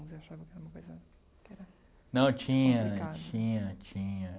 Você achava que era uma coisa que era... Não, tinha, tinha, tinha.